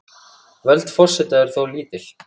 Völd forseta eru þó lítil.